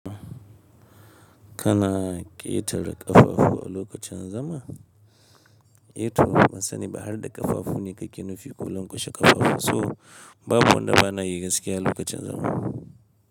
Kana ƙetare ƙafafu a lokacin zama? Eto, ban sani ba har da ƙafafu ne ka ƙi nufi kullum kashe ƙafafu, so babu wanda bana yi gaskiya a lokacin zama.